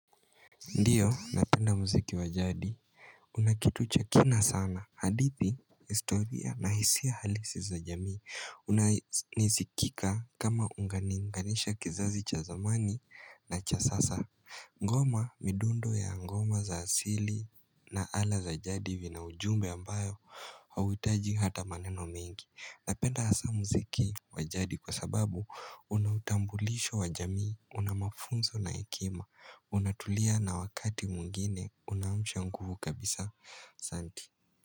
Ndiyo napenda muziki wa jadi kuna kitu cha kina sana hadithi historia na hisia halisi za jamii unanizikika kama unganiunganisha kizazi cha zamani na cha sasa Ngoma midundo ya ngoma za asili na ala za jadi vina ujumbe ambayo hauhitaji hata maneno ming.i Napenda hasa mziki wa jadi kwa sababu unautambulisho wa jamii, Una mafunzo na hekima, unatulia na wakati mwingine, unaamsha nguvu kabisa, asanti.